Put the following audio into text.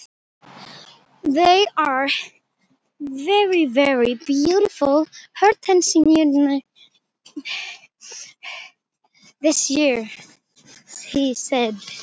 Þær eru einstaklega fallegar hortensíurnar í ár, sagði